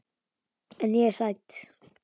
En ég er hrædd.